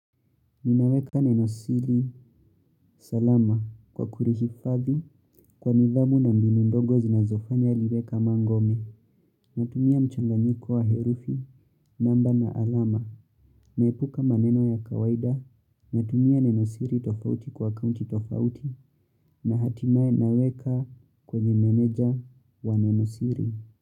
Ninaweka Neno siri salama kwa kulihifadhi kwa nidhamu na mbinu ndogo zinazofanya liweka mangome. Natumia mchanganyiko wa herufi namba na alama. Naepuka maneno ya kawaida. Natumia Neno siri tofauti kwa akaunti tofauti. Nahatimae naweka kwenye meneja wa Neno siri.